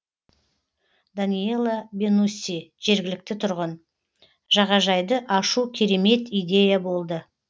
даниела бенусси жергілікті тұрғын жағажайды ашу керемет идея болды